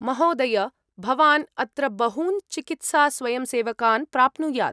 महोदय! भवान् अत्र बहून् चिकित्सास्वयंसेवकान् प्राप्नुयात्।